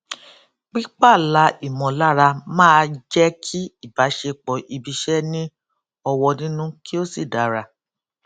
pí pààlà ìmọlára máa jẹ kí ìbásepọ ibiiṣẹ ní ọwọ nínú kí ó sì dára